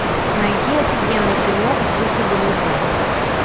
найди офигенный фильмок в духе боевика